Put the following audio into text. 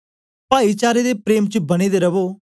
पाईचारे दे प्रेम च बने दे रवो